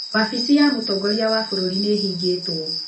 Wabici ya mũtongoria wa bũrũri nĩ ĩhingĩtwo.